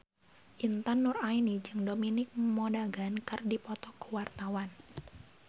Intan Nuraini jeung Dominic Monaghan keur dipoto ku wartawan